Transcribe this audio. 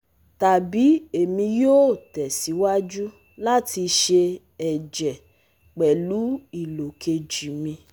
tàbí èmi yóò tẹ̀síwájú láti sẹ ẹ̀jẹ̀ pẹ̀lú ìlò kejì mi.